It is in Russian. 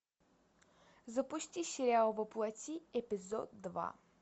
запусти сериал во плоти эпизод два